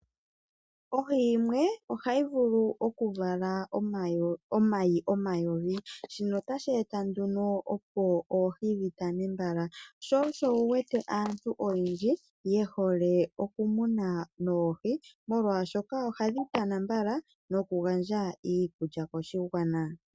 Ohi yimwe ohayi vulu okuvala omayi omayovi shino otashi eta nduno opo oohi dhi tane mbala sho osho wu wete aantu oyendji yehole okumuna noohi molwashoka ohadhi tana mbala nokugandja iikulya koshigwana.